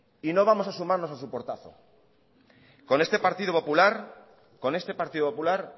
y no vamos a sumarnos a su portazo con este partido popular con este partido popular